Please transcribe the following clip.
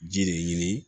Ji de ɲini